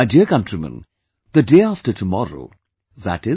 My dear countrymen, the day after tomorrow i